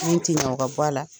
Min ti ɲɛ o ka bɔ a la.